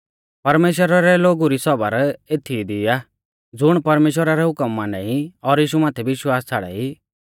परमेश्‍वरा रै लोगु री सौबर एथीई दी आ ज़ुण परमेश्‍वरा रै हुकम माना ई और यीशु माथै विश्वास छ़ाड़ाई